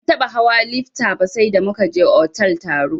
Ban taɓa hawa lifta ba sai da muka je otal taro.